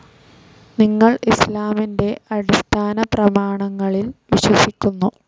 നിങ്ങൾ ഇസ്‌ലാമിന്റെ അടിസ്ഥാനപ്രമാണങ്ങളിൽ വിശ്വസിക്കുന്നു.